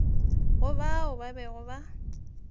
go bao ba bego ba